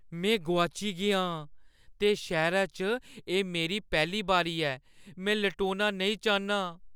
में गोआची गेआ आं ते शैह्‌रै च एह् मेरी पैह्‌ली बारी ऐ। में लटोना नेईं चाह्न्नां।